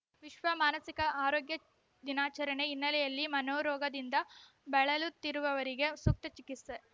ವಿಶ್ವ ಮಾನಸಿಕ ಆರೋಗ್ಯ ದಿನಾಚರಣೆ ಹಿನ್ನೆಲೆಯಲ್ಲಿ ಮನೋರೋಗದಿಂದ ಬಳಲುತ್ತಿರುವವರಿಗೆ ಸೂಕ್ತ ಚಿಕಿತ್ಸೆ